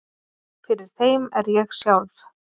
Fyrir þeim er ég sjálf